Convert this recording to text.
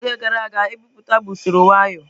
N'oge gara aga ebipụta bụ usoro nwayo.